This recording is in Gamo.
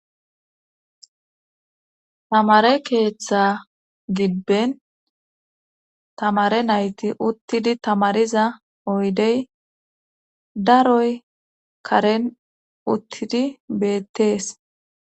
Tamare keeththa gibben tamare nayti uttidi tamariza oydey daroy karen uttidi beettees